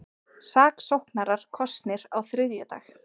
Saksóknarar kosnir á þriðjudag